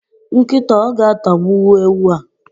Nkịta o ga-atagbuwu ewu a?.